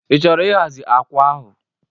Ị chọrọ ịhazi akwa ahụ?